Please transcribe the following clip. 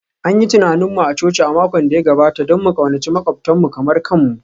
An yi tunanin mu a coci a makon da ya gabata don mu ƙaunaci maƙwabtanmu kamar kanmu